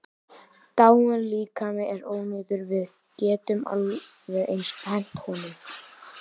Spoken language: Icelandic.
Dáinn líkami er ónýtur, við getum alveg eins hent honum.